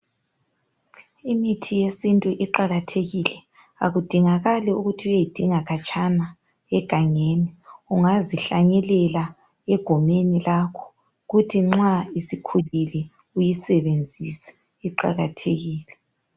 Imithi yesintu iqakathekile akudingakali ukuthi uyeyidinga khatshana ungazihlanyelela egumeni lakho kuthi nxa isikhulile uyisebenzise iqakathekile.